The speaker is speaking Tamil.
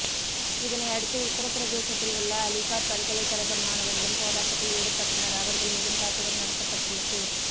இதனை அடுத்து உத்திரபிரதேசத்தில் உள்ள அலிகார் பல்கலைக்கழக மாணவர்களும் போராட்டத்தில் ஈடுபட்டனர் அவர்கள் மீதும் தாக்குதல் நடத்தப்பட்டுள்ளது